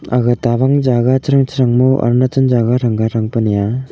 aga tawang jaga chasang chasag ma arunachal jaga thangpa thanga thangpa nang aa.